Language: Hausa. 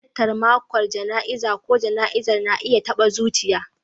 Halartar mako jana'izar ko jana'izar na iya taɓa zuciya.